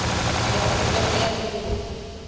dira kgopelo ya loan